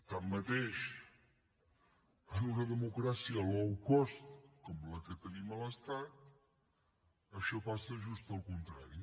tanmateix en una democràcia low cost com la que tenim a l’estat això passa just el contrari